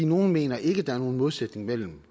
nogle mener ikke der er nogen modsætning mellem